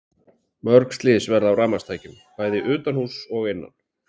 Mörg slys verða af rafmagnstækjum, bæði utanhúss og innan.